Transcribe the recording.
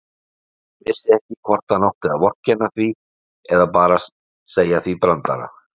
Hann vissi ekki hvort hann átti að vorkenna því eða bara segja því brandara.